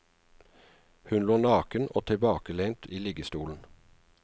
Hun lå naken og tilbakelent i liggestolen.